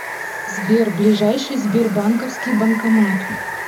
сбер ближайший сбербанковский банкомат